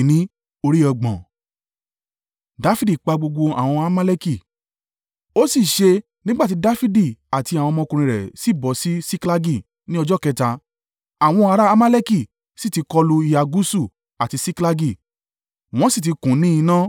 Ó sì ṣe nígbà ti Dafidi àti àwọn ọmọkùnrin rẹ̀ sì bọ̀ sí Siklagi ní ọjọ́ kẹta, àwọn ará Amaleki sì ti kọlu ìhà gúúsù, àti Siklagi, wọ́n sì ti kùn ún ní iná.